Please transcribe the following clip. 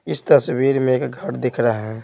इस तस्वीर में एक घर दिख रहा है।